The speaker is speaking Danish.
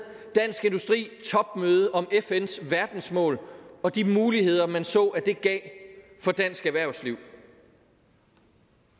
topmøde om fns verdensmål og de muligheder man så at det gav for dansk erhvervsliv